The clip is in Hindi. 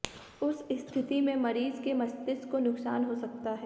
उस स्थिति में मरीज के मस्तिष्क को नुकसान हो सकता है